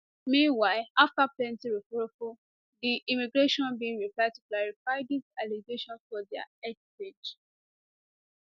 meanwhile afta plenti roforrofor di immigration bin reply to clarify dis allegations for dia x page